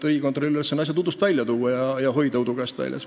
Riigikontrolli asi on tuua asjad udust välja ja hoida neid udu käest väljas.